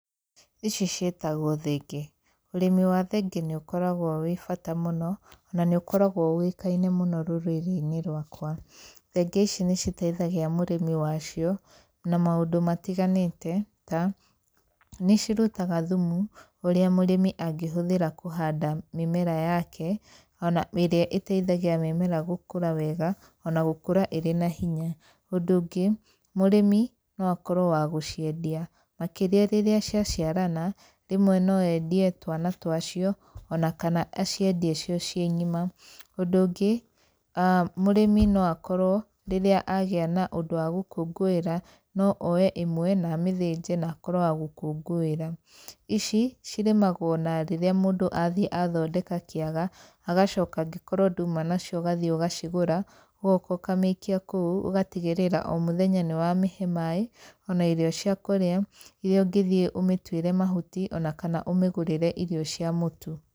Ici ciĩtagwo thenge. Ũrĩmi wa thenge nĩ ũkoragwo wĩ bata mũno, na nĩ ũkoragwo ũĩkaine mũno rũrĩrĩ-inĩ rwakwa. Thenge ici nĩ citeithagia mũrĩmi wa cio na maũndũ matiganĩte ta, nĩ cirutaga thumu, ũrĩa mũrĩmi angĩhũthĩra kũhanda mĩmera yake, ona irĩa ĩteithagia mĩmera gũkũra wega ona gũkũra ĩrĩ na hinya. Ũndũ ũngĩ, mũrĩmi no akorwo wa gũciendia makĩria rĩrĩa cia ciarana, rĩmwe no endie twana twa cio ona kana aciendie cio ciĩ ng'ima. Ũndũ ũngĩ , mũrĩmi no akorwo rĩrĩa agĩa na ũndũ wa gũkũngũĩra no oye ĩmwe na amĩthĩnje na akorwo wa gũkũngũĩra. Ici, cirĩmagwo na rĩrĩa mũndũ athiĩ athondeka kĩaga, agacoka angĩkorwo nduma nacio ũgathiĩ ũgacigũra, ũgoka ũkamĩikia kũu, ũgatigĩrĩra o mũthenya nĩ wamĩhe maĩ, ona irio cia kũrĩa irĩa ũngĩthiĩ ũmĩtuĩre ona kana ũmĩgũrĩre irio cia mũtu.